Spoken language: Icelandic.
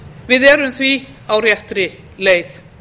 við erum því á réttri leið